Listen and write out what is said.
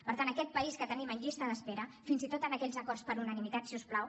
per tant en aquest país que tenim en llista d’espera fins i tot en aquells acords per unanimitat si us plau